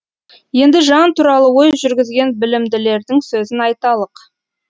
енді жан туралы ой жүргізген білімділердің сөзін айталық